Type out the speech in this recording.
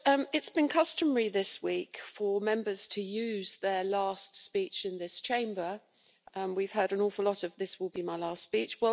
It's been customary this week for Members to use their last speech in this Chamber and we've heard an awful lot of this will be my last speech'.